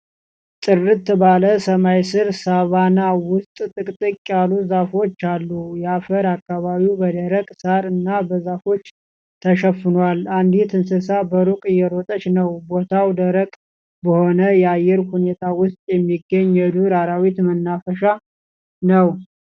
ጥርት ባለ ሰማይ ስር ሳቫና ውስጥ ጥቅጥቅ ያሉ ዛፎች አሉ። የአፈር አካባቢው በደረቅ ሣር እና በዛፎች ተሸፍኗል። አንዲት እንስሳ በሩቅ እየሮጠች ነው። ቦታው ደረቅ በሆነ የአየር ሁኔታ ውስጥ የሚገኝ የዱር አራዊት መናፈሻ ነው።